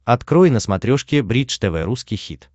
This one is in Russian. открой на смотрешке бридж тв русский хит